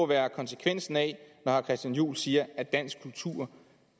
være konsekvensen af at herre christian juhl siger at dansk kultur